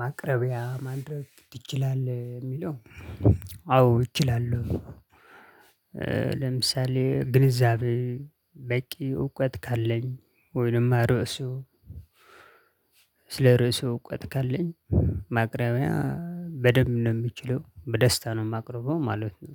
ማቅረቢያ ማድረግ ይችላል የሚለው አዎ ይችላለው። ለምሳሌ ግንዛቤ በቂ እውቀት ካለኝ ወይንማ ርዕሱ። ስለ ርዕሱ እውቀት ካለኝ ማቅረቢያ በደንብ ነው የምችለው በደስታ ነው የማቀርበው ማለት ነው።